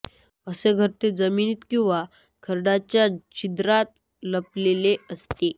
असे घरटे जमिनीत किंवा खडकाच्या छिद्रात लपलेले असते